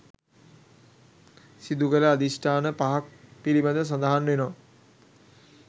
සිදුකළ අධිෂ්ඨාන පහක් පිළිබඳව සඳහන් වෙනවා.